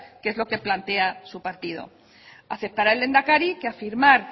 que es lo que plantea su partido aceptará el lehendakari que afirmar